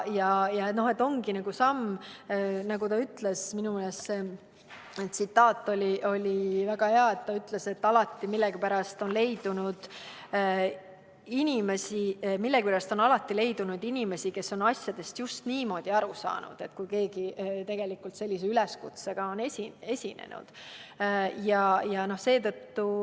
Minu meelest oli ka see tsitaat väga hea, kui ta ütles, et millegipärast on alati leidunud inimesi, kes on asjadest just niimoodi aru saanud, kui keegi sellise üleskutsega on esinenud.